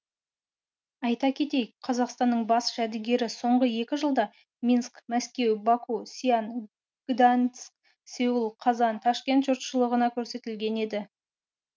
айта кетейік қазақстанның бас жәдігері соңғы екі жылда минск мәскеу баку сиан гданьск сеул қазан ташкент жұртшылығына көрсетілген еді